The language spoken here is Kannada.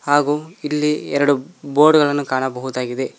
ಹಾಗು ಇಲ್ಲಿ ಎರಡು ಬೋರ್ಡ್ ಗಳನ್ನು ಕಾಣಬಹುದಾಗಿದೆ.